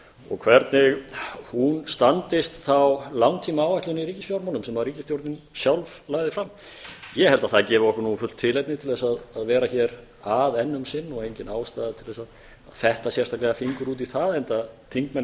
og hvernig hún standist þá langtímaáætlun í ríkisfjármálum sem ríkisstjórnin sjálf lagði fram ég held að það gefi okkur fullt tilefni til að vera hér að enn um sinn og engin ástæða til að fetta sérstaklega fingur út í það enda þingmenn